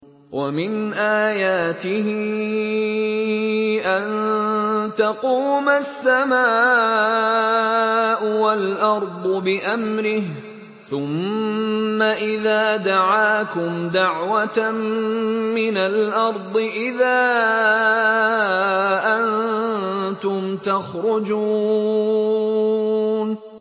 وَمِنْ آيَاتِهِ أَن تَقُومَ السَّمَاءُ وَالْأَرْضُ بِأَمْرِهِ ۚ ثُمَّ إِذَا دَعَاكُمْ دَعْوَةً مِّنَ الْأَرْضِ إِذَا أَنتُمْ تَخْرُجُونَ